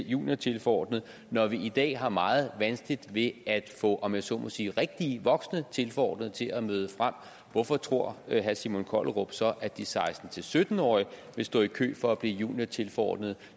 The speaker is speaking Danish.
juniortilforordnet når vi i dag har meget vanskeligt ved at få om jeg så må sige rigtige voksne tilforordnede til at møde frem hvorfor tror herre simon kollerup så at de seksten til sytten årige vil stå i kø for at blive juniortilforordnede